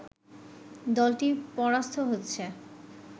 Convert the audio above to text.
দলটি পরাস্ত হচ্ছে